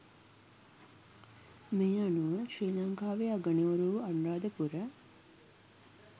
මේ අනුව ශ්‍රී ලංකාවේ අගනුවර වූ අනුරාධපුර